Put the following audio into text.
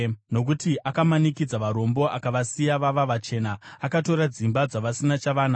Nokuti akamanikidza varombo akavasiya vava vachena; akatora dzimba dzavasina chavanacho.